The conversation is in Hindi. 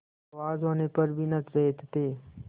आवाज होने पर भी न चेतते